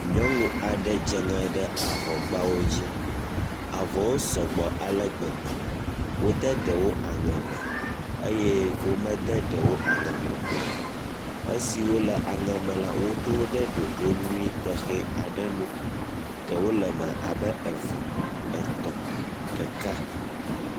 Nyɔnu aɖe dze ŋe ɖe avɔgbawo dzi. Avɔwo sɔgbɔ ale gbegbe. Wode ɖewo aŋe me eye womede ɖewo aŋe me o. Esiwo le aŋe me la woɖo wo ɖe ɖoɖo tɔxɛ aɖe nu. Ɖewo le eme abe eve, etɔ̃, ɖeka.